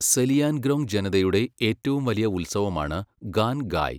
സെലിയാൻഗ്രോങ് ജനതയുടെ ഏറ്റവും വലിയ ഉത്സവമാണ് ഗാൻഗായ്.